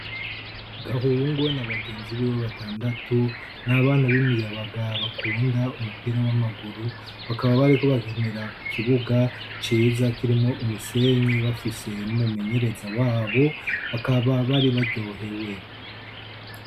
Gahungu na begenzi biwe batandatu, ni abana b'imiyabaga bakunda umupira w'amaguru, bakaba bariko bakinira ku kibuga ciza kirimwo umusenyi, bafise n'umumenyereza wabo, bakaba bari baryohewe.